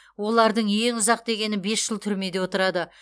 олардың ең ұзақ дегені бес жыл түрмеде отырады